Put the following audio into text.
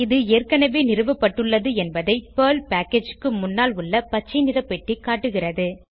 இது ஏற்கனவே நிறுவப்பட்டுள்ளது என்பதை பெர்ல் பேக்கேஜ் க்கு முன்னால் உள்ள பச்சை நிற பெட்டி காட்டுகிறது